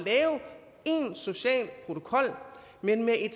social protokol men med et